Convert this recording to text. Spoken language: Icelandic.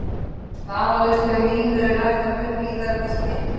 Vafalaust hefur lín verið ræktað mun víðar en þessar heimildir segja.